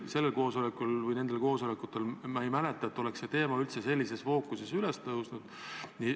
Ma ei mäleta, et nendel koosolekutel oleks see teema üldse sellises fookuses üles tõusnud.